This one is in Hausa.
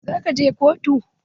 Za ka je kotu?